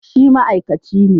Shi ma'aikaci ne